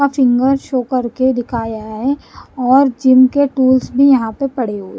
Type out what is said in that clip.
का finger show करके दिखाया है और जिम के टूल्स भी यहां पर पड़े हुए --